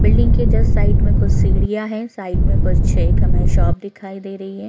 Building के just side में कुछ सीढ़ियां है साइड में कोई छे एक हमे शॉप दिखाई दे रही है।